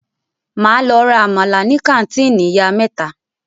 Máa lọ ra àmàlà ní kàńtìnì ìyá mẹ́ta.